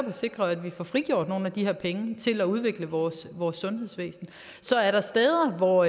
at sikre at vi får frigjort nogle af de her penge til at udvikle vores vores sundhedsvæsen så er der steder hvor